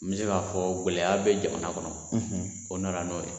N bi se ka fɔ gɔlɛya bɛ jamana kɔnɔ , o nana n'o ye.